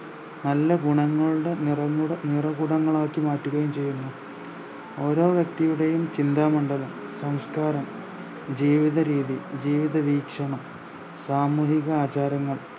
നല്ല ഗുണങ്ങളുടെ നിറങ്ങുട നിറകുടങ്ങളുമാക്കി മാറ്റുകയും ചെയ്യുന്നു ഓരോ വ്യെക്തിയുടെയും ചിന്ത മണ്ഡലം സംസ്ക്കാരം ജീവിതരീതി ജീവിതവീക്ഷണം സാമൂഹിക ആചാരങ്ങൾ